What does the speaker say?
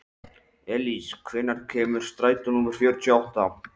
Elís, hvenær kemur strætó númer fjörutíu og átta?